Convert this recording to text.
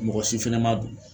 Mɔgɔ si fɛnɛ ma dun